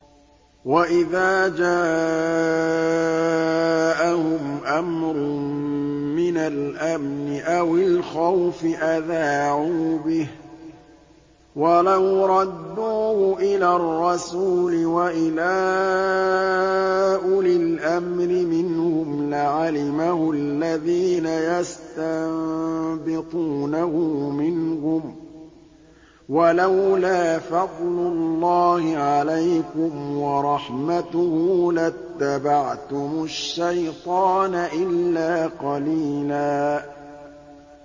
وَإِذَا جَاءَهُمْ أَمْرٌ مِّنَ الْأَمْنِ أَوِ الْخَوْفِ أَذَاعُوا بِهِ ۖ وَلَوْ رَدُّوهُ إِلَى الرَّسُولِ وَإِلَىٰ أُولِي الْأَمْرِ مِنْهُمْ لَعَلِمَهُ الَّذِينَ يَسْتَنبِطُونَهُ مِنْهُمْ ۗ وَلَوْلَا فَضْلُ اللَّهِ عَلَيْكُمْ وَرَحْمَتُهُ لَاتَّبَعْتُمُ الشَّيْطَانَ إِلَّا قَلِيلًا